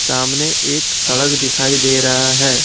सामने एक सड़क दिखाई दे रहा है।